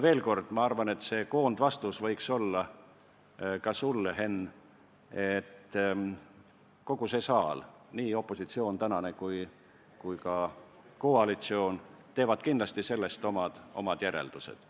Veel kord: ma arvan, et koondvastus võiks olla ka sulle, Henn, et kogu see saal, nii tänane opositsioon kui ka koalitsioon, teevad sellest kindlasti omad järeldused.